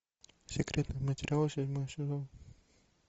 секретные материалы седьмой сезон